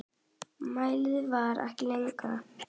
Málið fer ekki lengra.